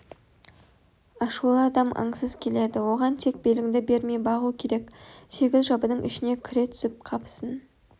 ашулы адам аңсыз келеді оған тек беліңді бермей бағу керек сегіз жабының ішіне кіре түсіп қапысын